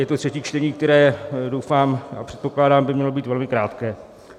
Je to třetí čtení, které doufám - a předpokládám - by mělo být velmi krátké.